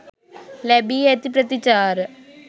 ලැබී ඇති ප්‍රතිචාර.